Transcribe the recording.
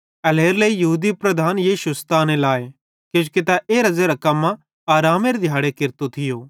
एल्हेरेलेइ यहूदी लीडर यीशु सताने लाए किजोकि तै एरां ज़ेरां कम्मां आरामेरे दिहाड़े केरतो थियो